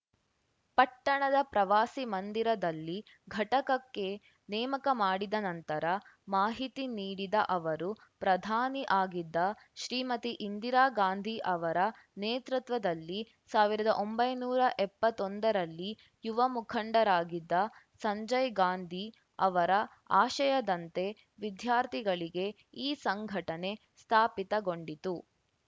ಪಟ್ಟಣದ ಪ್ರವಾಸಿ ಮಂದಿರದಲ್ಲಿ ಘಟಕಕ್ಕೆ ನೇಮಕ ಮಾಡಿದ ನಂತರ ಮಾಹಿತಿ ನೀಡಿದ ಅವರು ಪ್ರಧಾನಿ ಆಗಿದ್ದ ಶ್ರೀಮತಿ ಇಂದಿರಾ ಗಾಂಧಿ ಅವರ ನೇತೃತ್ವದಲ್ಲಿ ಸಾವಿರದ ಒಂಬೈನೂರ ಎಪ್ಪತ್ತೊಂದರಲ್ಲಿ ಯುವ ಮುಖಂಡರಾಗಿದ್ದ ಸಂಜಯ್‌ ಗಾಂಧಿ ಅವರ ಆಶಯದಂತೆ ವಿದ್ಯಾರ್ಥಿಗಳಿಗೆ ಈ ಸಂಘಟನೆ ಸ್ಥಾಪಿತಗೊಂಡಿತು